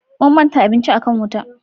Mun manta abinci a kan wuta